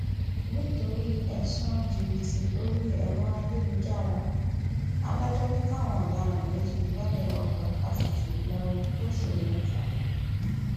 nítorí ẹsùn jìbìtì orí ẹrọ ayélujára adájọ ni káwọn ọdaràn méjì gbalé ọgbà fásitì ìlọrin fóṣù mẹta